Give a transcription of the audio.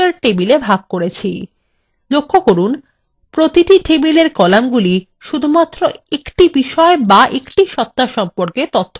লক্ষ্য করুন প্রতিটি table কলামগুলি শুধুমাত্র একটি বিষয় বা একটি সত্তা সম্পর্কে তথ্য সঞ্চয় করছে